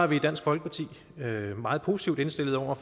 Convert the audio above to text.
vi i dansk folkeparti meget positivt indstillet over